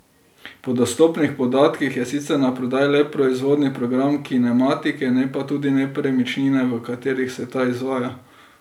Po dostopnih podatkih je sicer naprodaj le proizvodni program kinematike, ne pa tudi nepremičnine, v katerih se ta izvaja.